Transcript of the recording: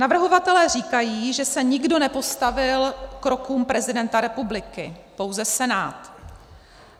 Navrhovatelé říkají, že se nikdo nepostavil krokům prezidenta republiky, pouze Senát.